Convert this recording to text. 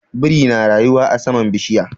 Biri na rayuwa a saman bishiya.